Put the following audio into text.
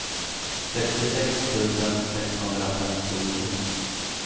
sextiosex tusen sexhundrafemtionio